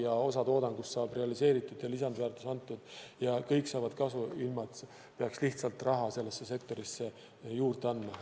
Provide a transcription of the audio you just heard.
Ja osa toodangust saab realiseeritud ja lisandväärtus antud ja kõik saavad kasu, ilma et peaks lihtsalt raha sellesse sektorisse juurde andma.